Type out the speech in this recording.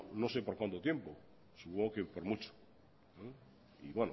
no sé por cuánto tiempo supongo que por mucho y